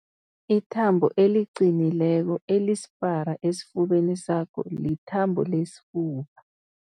Ithambo eliqinileko elisipara esifubeni sakho lithambo lesifuba.